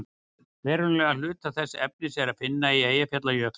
verulegan hluta þess efnis er að finna á eyjafjallajökli